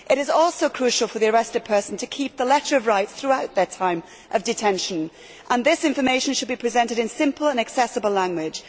It is also crucial for the arrested person to keep the letter of rights throughout their time of detention and this information should be presented in simple and accessible language.